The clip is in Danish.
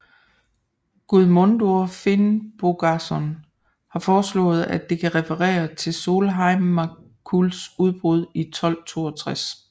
Guðmundur Finnbogason har foreslået at det kan referer til Sólheimajökulls udbrud i 1262